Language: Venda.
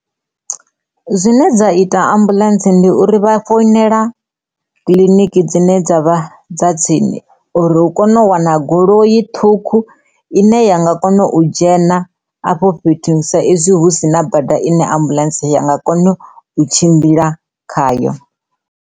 Zwine dza ita ambuḽentse ndi uri vha founela kiḽiniki dzine dza vha dza tsini uri hu kone u wana goloi ṱhukhu ine ya nga kona u dzhena afho fhethu sa izwi hu si na bada ine ambuḽentse ya nga kona u tshimbila khayo.